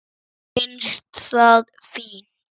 Mér finnst það fínt.